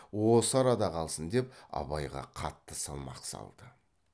осы арада қалсын деп абайға қатты салмақ салды